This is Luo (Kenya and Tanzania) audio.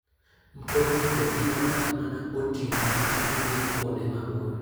Mtoknigo tiyo kata mana gotieno ka gidhi kuonde maboyo.